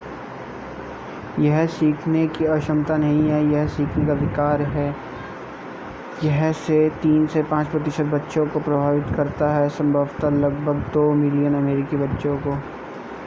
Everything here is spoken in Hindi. यह सीखने की अक्षमता नहीं है यह सीखने का विकार है यह 3 से 5 प्रतिशत बच्चों को प्रभावित करता है संभवतः लगभग 2 मिलियन अमेरिकी बच्चों को